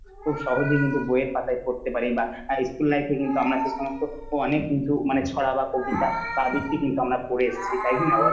খুব সহজে কিন্তু বইয়ের পাতায় পড়তে পারি বা school life এ কিন্তু আমরা যে সমস্ত অনেক কিন্তু ছড়া বা কবিতা তাদের কিন্তু আমার পড়ে এসেছি তাই কিনা বল।